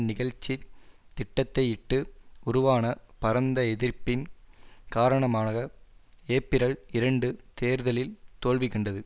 நிகழ்ச்சி திட்டத்தையிட்டு உருவான பரந்த எதிர்ப்பின் காரணமாக ஏப்பிரல் இரண்டு தேர்தலில் தோல்விகண்டது